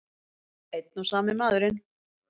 Einn og sami maðurinn!